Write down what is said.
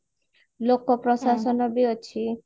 ଲୋକ ପ୍ରଶାସନ ବି ଅଛି